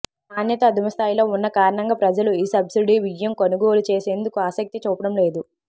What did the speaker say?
నాణ్యత అధమస్థాయిలో ఉన్న కారణంగా ప్రజలు ఈ సబ్సిడీ బియ్యం కొనుగోలు చేసేందుకు ఆసక్తి చూపడం లేదు